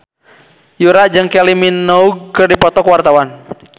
Yura jeung Kylie Minogue keur dipoto ku wartawan